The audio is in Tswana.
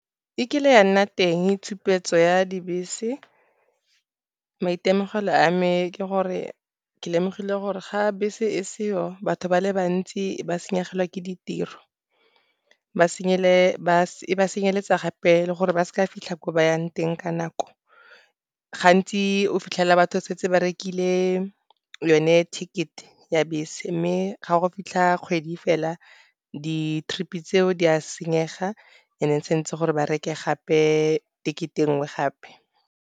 E kile ya nna teng tshupetso ya dibese. Maitemogelo a me ke gore ke lemogile gore ga bese e seyo batho ba le bantsi ba senyegelwe ke ditiro. E ba senyeletsa gape le gore ba seka fitlha ko ba yang teng ka nako. Gantsi o fitlhela batho setse ba rekile yone ticket ya bese mme ga go fitlha kgwedi fela di-trip-e tseo di a senyega, gomme santse gore ba reke gape ticket e nngwe gape.